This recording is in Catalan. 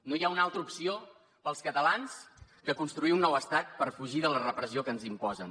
no hi ha una altra opció per als catalans que construir un nou estat per fugir de la repressió que ens imposen